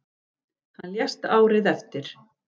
Hann lést árið eftir.